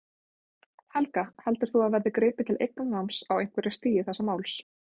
Helga: Heldur þú að það verði gripið til eignarnáms á einhverju stigi þessa máls?